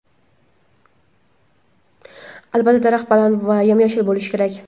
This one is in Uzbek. Albatta, daraxt baland va yam-yashil bo‘lishi kerak.